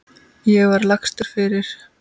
Ég var lagstur fyrir.